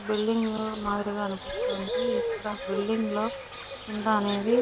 Building మాదిరిగా అనిపిస్తుంది. ఇక్కడ బిల్డింగ్ లో కింద అనేది --